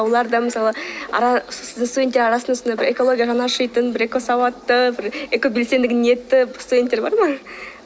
олар да мысалы студенттер арасында сондай бір экологияға жаны ашитын бір экосауатты бір экобелсенділігі студенттер бар ма